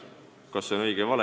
Kas see on õige või vale?